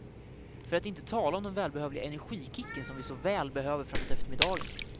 För att inte tala om den välbehövliga energikicken, som vi så väl behöver framåt eftermiddagen.